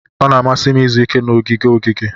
Ọ na-amasị m izu ike na ogige ogige.